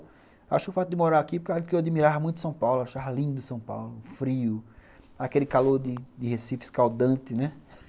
Acho que o fato de morar aqui é porque eu admirava muito São Paulo, achava lindo São Paulo, frio, aquele calor de de Recife escaldante, né?